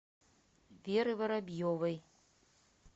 веры воробьевой